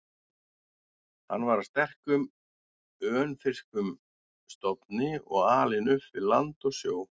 Hann var af sterkum, önfirskum stofni og alinn upp við land og sjó.